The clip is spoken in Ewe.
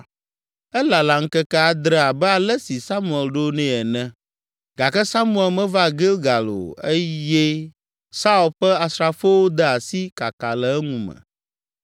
Elala ŋkeke adre abe ale si Samuel ɖoe nɛ ene, gake Samuel meva Gilgal o eye Saul ƒe asrafowo de asi kaka le eŋu me.